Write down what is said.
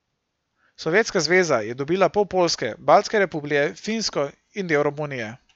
Sovjetska zveza je dobila pol Poljske, baltske republike, Finsko in del Romunije.